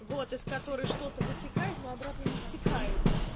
вот из которой что-то вытекает но обратно не втекает